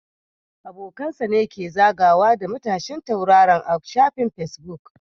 Abokan sa ne ke zagawa da matashin tauraron a shafin Facebook